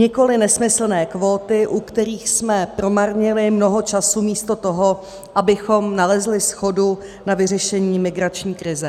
Nikoli nesmyslné kvóty, u kterých jsme promarnili mnoho času místo toho, abychom nalezli shodu na vyřešení migrační krize.